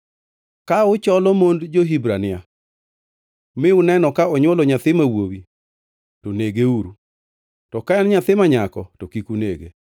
“Ka ucholo mond jo-Hibrania mi uneno ka onywolo nyathi ma wuowi, to negeuru, to ka en nyathi ma nyako, to kik unege.”